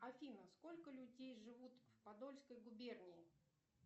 афина сколько людей живут в подольской губернии